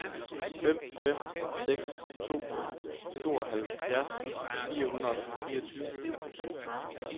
fem fem seks to tooghalvfjerds fire hundrede og fireogtyve